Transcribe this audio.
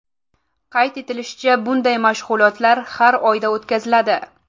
Qayd etilishicha, bunday mashg‘ulotlar har oyda o‘tkaziladi.